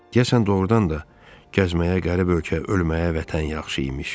Deyəsən, doğurdan da gəzməyə qərib ölkə, ölməyə vətən yaxşı imiş.